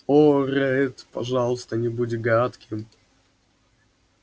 о ретт пожалуйста не будь гадким